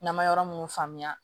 N'an ma yɔrɔ munnu faamuya